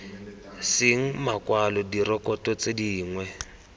seng makwalo direkoto tse dingwe